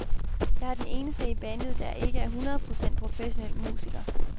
Jeg er den eneste i bandet, der ikke er et hundrede procent professionel musiker.